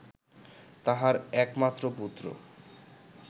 তাঁহার একমাত্র পুত্র